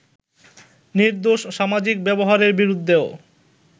নির্দোষ সামাজিক ব্যবহারের বিরুদ্ধেও